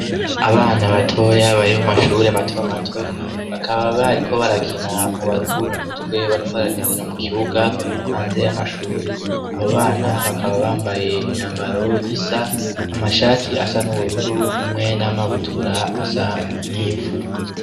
Abana batoya bari mu mashure mato mato, bakaba bariko barakina mu baruhurua umutwe, bariko barakinira mu kibuga hanze y'amashure. Abo bana bakaba bambaye imyambaro isa, amashati asa n'ubururu hamwe n'amabutura asa n'ivu.